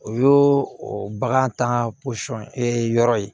O y'o o bagan tan ka yɔrɔ ye